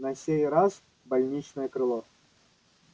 на сей раз больничное крыло